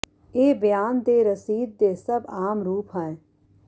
ਇਹ ਬਿਆਨ ਦੇ ਰਸੀਦ ਦੇ ਸਭ ਆਮ ਰੂਪ ਹੈ